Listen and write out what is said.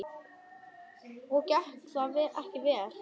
Og gekk það ekki vel.